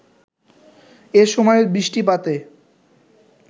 এসময়ের বৃষ্টিপাতে